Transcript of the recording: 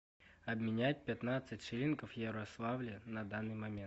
обменять пятнадцать шиллингов в ярославле на данный момент